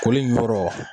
Koli in yɔrɔ